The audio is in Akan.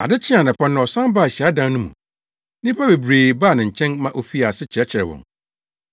Ade kyee anɔpa no ɔsan baa hyiadan no mu. Nnipa bebree baa ne nkyɛn ma ofii ase kyerɛkyerɛɛ wɔn.